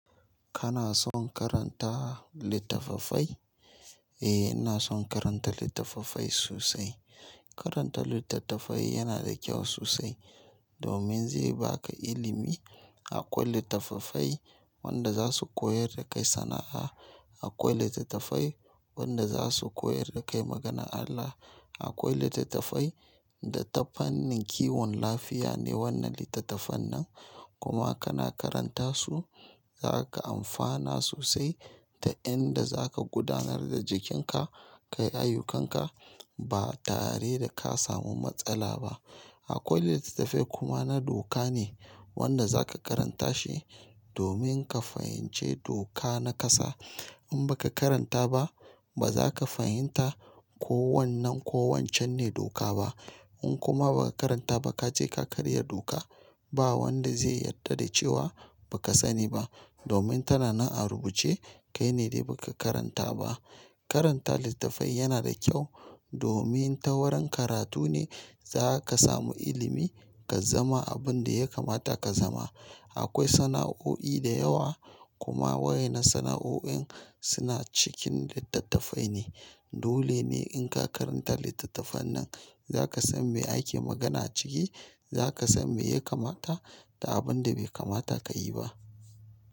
Kana son karanta littattafai? Eh, ina son karanta littattafai sosai. Karanta littattafai yana da kyau sosai domin zai baka ilimi. Akwai littattafai wanda za su koyar da kai sana'a, akwai littattafai wanda za su koyar da kai maganar Allah, akwai littattafai da tafanin kiwon lafiya ne wannan littattafan nan kuma kana karanta su zaka amfana sosai ta inda zaka gudanar da jikinka, kayayyukan ka ba tare da ka samu matsala ba. Akwai littattafai kuma na doka ne wanda za ka karanta shi domin ka fahimci doka na ƙasa. In baka karanta ba bazaka fahimta ko wannan ko wancan ne doka ba. In kuma baka karanta bah kaje ka karya doka bah wanda zai yadda da cewa baka sani ba domin tana nan a rubuce kai ne dai baka karanta ba. Karanta littattafai yana da kyau domin ta wurin karatu ne zaka samu ilimi ka zama abin da ya kamata ka zama. Akwai sana'o'i da yawa kuma waye na sana'o'oin suna cikin littattafai ne. Dole ne in ka karanta littattafan nan zaka san me ake magana a ciki, zaka san me ya kamata da abin da bai kamata ka yi ba.